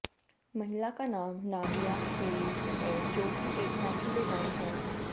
महिला का नाम नादिया अहेली है जोकि एक फैशन डिजाइन है